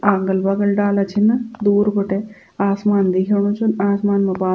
अगल बगल डाला छिन दूर बटे आसमान दिखेंणु च आसमान मा बाद --